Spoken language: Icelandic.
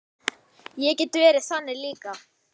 Ég get verið þannig líka.